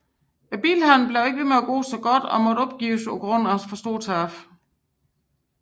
Bilhandelen blev ikke ved med at gå godt og måtte opgives på grund af store tab